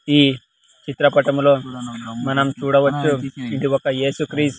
ఈ చిత్రపటంలో మనం చూడవచ్చు ఇది ఒక యేసుక్రీస్--